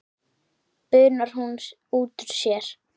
bunar hún út úr sér.